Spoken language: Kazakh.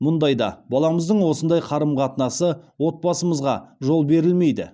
мұндайда баламыздың осындай қарым қатынасы отбасымызға жол берілмейді